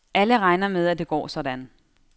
Alle regner med, at det går sådan.